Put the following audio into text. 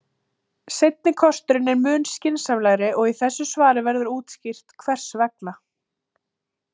Seinni kosturinn er mun skynsamlegri og í þessu svari verður útskýrt hvers vegna.